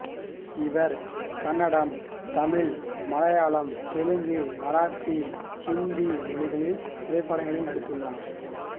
இவர் கன்னடம் தமிழ் மலையாளம் தெலுங்கு மராத்தி இந்தி மொழித் திரைப்படங்களில் நடித்துள்ளார்